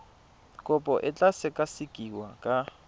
kopo e tla sekasekiwa ka